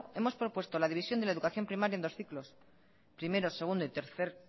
hemos propuesto la división de la educación primaria en dos ciclos primero segundo y tercer